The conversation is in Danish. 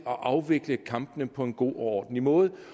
at afvikle kampene på en god og ordentlig måde